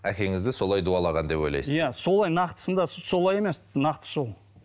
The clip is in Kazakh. әкеңізді солай дуалаған деп ойлайсыз иә солай нақтысында солай емес нақты сол